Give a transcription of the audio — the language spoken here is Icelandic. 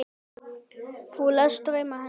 Þú lést drauma hennar rætast.